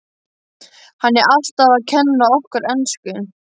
Hann er alltaf að kenna okkur ensku!